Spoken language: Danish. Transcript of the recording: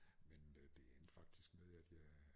Men øh det endte faktisk med at jeg